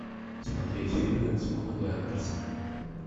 смотреть фильмы с памелой андерсон